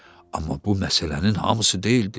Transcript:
Amma bu məsələnin hamısı deyildi.